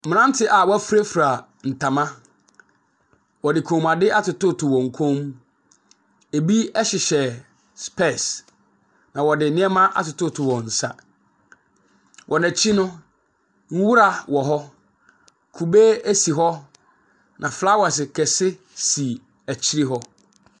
Mmeranteɛ a wɔafurafura ntoma. Wɔde kɔmmuadeɛ atotototo wɔn kɔ mu. Ebi hyehyɛ specs, na wɔde nneɛma atotototo wɔn nsa. Wɔn akyi no, nwura wɔ hɔ. Kube si hɔ, na flowers kɛse si akyire hɔ.